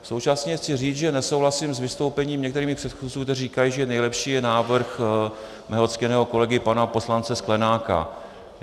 Současně chci říct, že nesouhlasím s vystoupením některých mých předchůdců, kteří říkají, že nejlepší je návrh mého ctěného kolegy pana poslance Sklenáka.